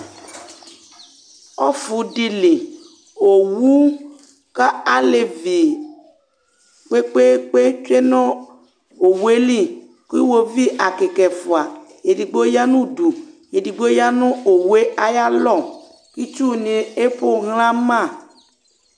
Ɔfʋ dɩ li, owu kalevi kpekpekpe tsue nʋ owue liKʋ iwovi ɛkɩkaɛfʋa, edigbo ya nʋ udu, edigbo ya nʋ owue ayalɔ, itsu nɩ epoxlǝ ma